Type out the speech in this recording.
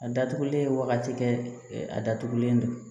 A datugulen wagati kɛ a datugulen don